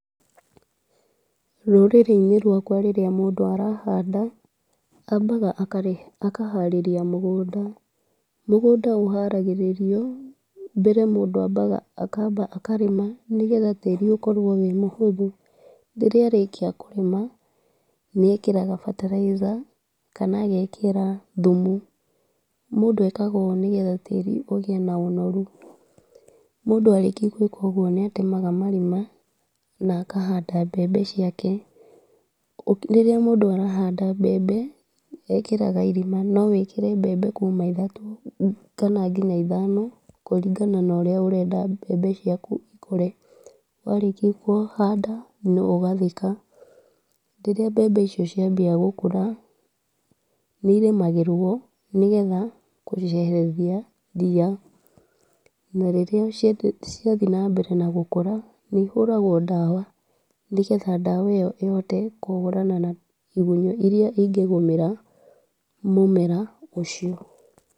Rũrĩrĩ-inĩ rwakwa rĩrĩa mũndũ arahanda ambaga akaharĩrĩria mũgũnda. Mũgũnda ũharagĩrĩrio, mbere mũndũ ambaga akamba akarĩma, nĩgetha tĩri ũkorwo wĩ mũhũthũ. Rĩrĩa arĩkĩa kũrĩma, nĩekĩraga fertilizer kana agekĩra thumu. Mũndũ ekaga ũ nĩgetha tĩri ũgĩe na ũnorũ. Mũndũ arĩkĩa gwĩka ũgũo nĩatemaga marima na akahanda mbembe ciake, rĩrĩa mũndũ arahanda mbembe ekagĩra irima, nowĩkĩre mbembe kuma ĩthatũ kana nginya ithano, kũringana na urĩa ũrenda mbembe ciaku ikũre. Warĩkĩa kũhanda no ũgathika, rĩrĩa mbembe icio ciambia gũkũra nĩ irĩmagĩrwo, nĩgetha kweheria ria na rĩrĩa ciathiĩ na mbere na gũkũra nĩihuragwo ndawa, nĩgetha ndawa ĩyo ihote kũhũrana na igũnyũ irĩa ingĩgũmĩra mũmera ũcio.